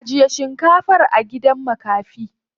Ajiye shinkafar a gidan makafi.